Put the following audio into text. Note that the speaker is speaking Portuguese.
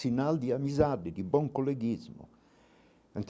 Sinal de amizade, de bom coleguismo.